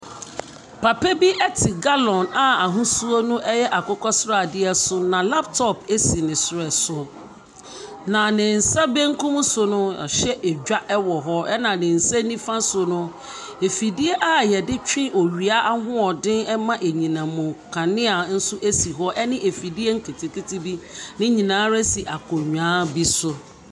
Papa bi te gallon a ahosuo no yɛ akokɔsradeɛ so, na laptop si ne srɛ so. Na ne nsa benkum so no, wahyɛ edwa wɔ hɔ, ɛna ne nsa nifa so no, afidie a wɔde twe owia ahoɔden ma anyinam nkanea nso si hɔ, ne afidie nketenkete bi. Ne nyinaa si akonnwa bi so.